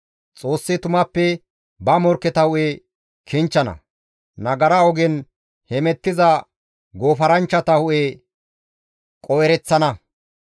Xoossi tumappe ba morkketa hu7e kinchchana; nagara ogen hemettiza goofaranchchata hu7e qoo7ereththana.